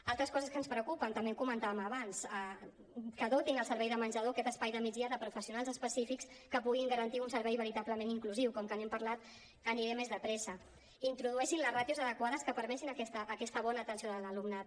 altres coses que ens preocupen també ho comentàvem abans que dotin el servei de menjador aquest espai de migdia de professionals específics que puguin garantir un servei veritablement inclusiu com que n’hem parlat aniré més de pressa que introdueixin les ràtios adequades que permetin aquesta bona atenció de l’alumnat